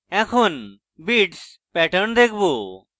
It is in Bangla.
এখন beats pattern দেখাবো